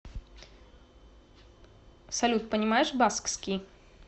салют понимаешь баскский